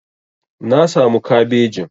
Na samu kabejin.